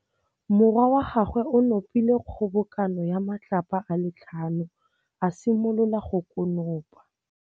Morwa wa gagwe o nopile kgobokanô ya matlapa a le tlhano, a simolola go konopa.